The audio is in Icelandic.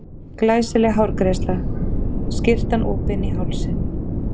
Glæsileg hárgreiðsla, skyrtan opin í hálsinn.